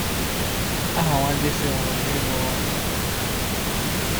Aha nwa Jesse nwụrụ n’enweghị ụmụ agaghị adị mkpa.